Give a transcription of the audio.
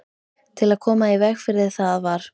Til að koma í veg fyrir það var